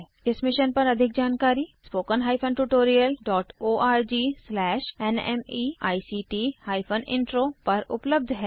इस मिशन पर अधिक जानकारी httpspoken tutorialorgNMEICT Intro पर उपलब्ध है